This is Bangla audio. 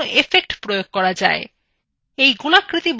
এই গোলাকৃতি বসতুটির উপরই effects প্রয়োগ করা যাক